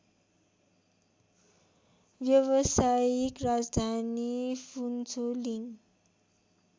व्यवसायिक राजधानी फुन्छोलिङ